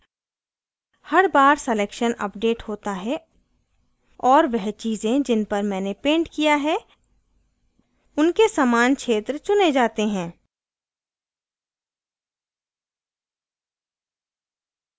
हर बार selection update होता है और वह चीज़ें जिन पर मैंने painted किया है उनके समान क्षेत्र चुने जाते हैं